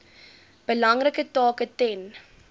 belangrike taak ten